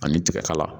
Ani tiga kala